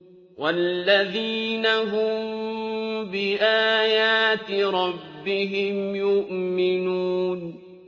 وَالَّذِينَ هُم بِآيَاتِ رَبِّهِمْ يُؤْمِنُونَ